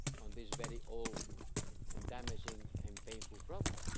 to this very old, damaging and painful problem.